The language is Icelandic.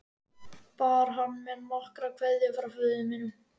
Bar hann mér nokkra kveðju frá föður mínum?